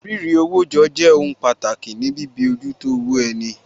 Rírewójọ jẹ́ jẹ́ ohun pàtàkì ní bíojútó owó ẹni